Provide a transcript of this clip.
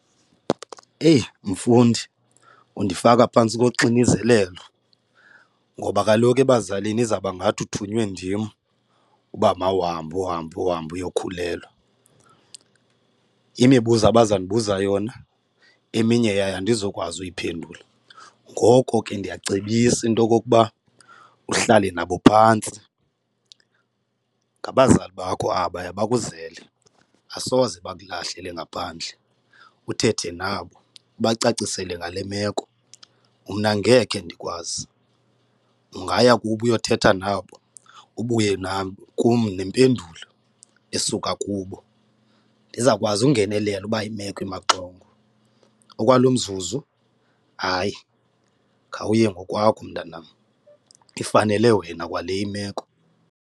Eyi, mfundi undifaka phantsi koxinizelelo ngoba kaloku ebazalini izawubangathi uthunywe ndim uba mawuhambe uhambe uhambe uyokhulelwa. Imibuzo abazawundibuza yona eminye yayo andizokwazi uyiphendule. Ngoko ke ndiyacebisa into okokuba uhlale nabo phantsi, ngabazali bakho abaya bakuzele, asoze bakulahlele ngaphandle. Uthethe nabo, ubacacisele ngale meko. Mna angekhe ndikwazi, ungaya kubo uyothetha nabo ubuye nakum nempendulo esuka kubo, ndizawukwazi ungenelela uba imeko imaxongo, okwalo mzuzu hayi khawuye ngokwakho mntanam, ifanele wena kwale imeko.